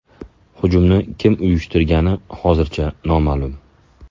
Hujumni kim uyushtirgani hozircha noma’lum.